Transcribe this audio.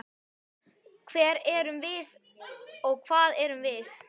Hver erum við og hvað erum við?